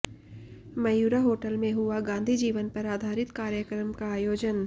Mayura hotel में हुआ गाँधी जीवन पर आधारित कार्यक्रम का आयोजन